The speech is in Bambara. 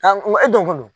e donko don